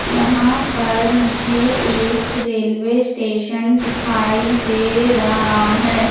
यहां पर मुझे एक रेलवे स्टेशन दिखाई दे रहा है।